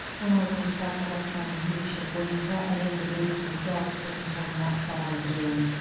оның айтуынша қазақстан бейбітшілік бойынша әлемдік рейтингте алпыс төртінші орынға табан тіреген